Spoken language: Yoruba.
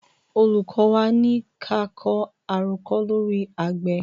Olùkọ́ wa ní ka kọ àròkọ lóri àgbẹ̀.